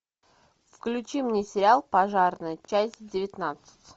включи мне сериал пожарный часть девятнадцать